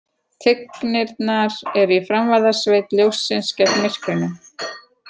Tignirnar eru í framvarðasveit ljóssins gegn myrkrinu.